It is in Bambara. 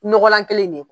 Nɔgɔlan kelen in ne kɔ